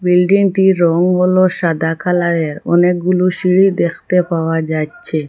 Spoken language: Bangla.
বিল্ডিংটির রং হল সাদা কালারের অনেকগুলো সিঁড়ি দেখতে পাওয়া যাচ্ছে।